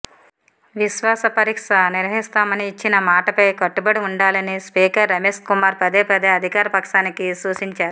విశ్వాస పరీక్ష నిర్వహిస్తామని ఇచ్చిన మాటపై కట్టుబడి ఉండాలని స్పీకర్ రమేశ్కుమార్ పదేపదే అధికార పక్షానికి సూచించారు